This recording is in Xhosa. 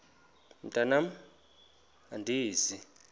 mntwan am andizi